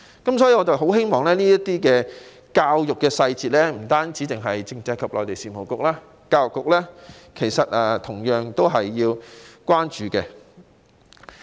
故此，對於這些教育上的細節，希望不單是政制及內地事務局，教育局也同樣要關注。